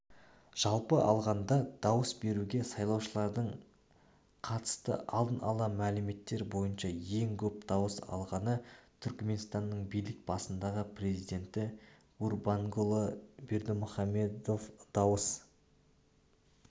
жалпы алғанда дауыс беруге сайлаушылардың қатысты алдын ала мәліметтер бойынша ең көп дауыс алғаны түркменстанның билік басындағы президенті гурбангулы бердымухамедов дауыс